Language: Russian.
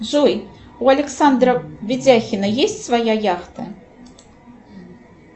джой у александра ведяхина есть своя яхта